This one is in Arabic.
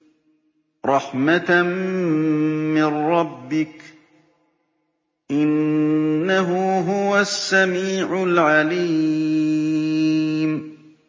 رَحْمَةً مِّن رَّبِّكَ ۚ إِنَّهُ هُوَ السَّمِيعُ الْعَلِيمُ